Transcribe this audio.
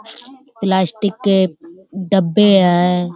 Plastic के डब्बे हैं।